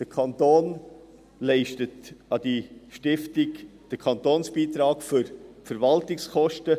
Der Kanton leistet an diese Stiftung den Kantonsbeitrag für die Verwaltungskosten.